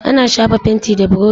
Ana shafa fenti da burushi.